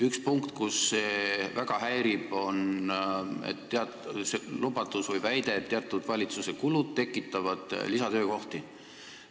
Üks punkt, mis väga häirib, on väide, et valitsuse teatud kulud tekitavad lisatöökohti.